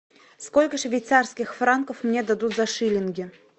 сколько швейцарских франков мне дадут за шиллинги